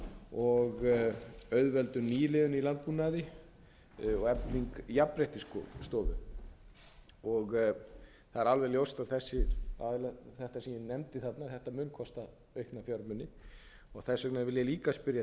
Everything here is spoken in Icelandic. og auðveldun nýliðunar í landbúnaði og efling jafnréttisstofu það er alveg ljóst að þetta sem ég nefndi þarna mun kosta aukna fjármuni og þess vegna vil ég líka spyrja að